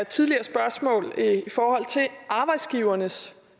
tidligere spørgsmål om arbejdsgivernes